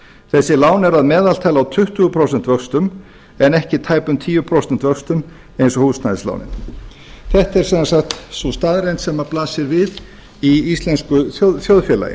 þessi lán eru að meðaltali á tuttugu prósent en ekki tæpum tíu prósent vöxtum eins og húsnæðislánin þetta er sem sagt sú staðreynd sem blasir við í íslensku þjóðfélagi